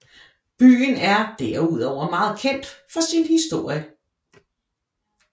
Byen er derudover meget kendt for sin historie